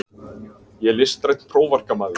Ég er listrænn prófarkamaður.